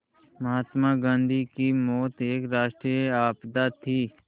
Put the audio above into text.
महात्मा गांधी की मौत एक राष्ट्रीय आपदा थी